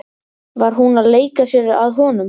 Var hún að leika sér að honum?